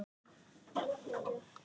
Eigum við séns á fyrsta?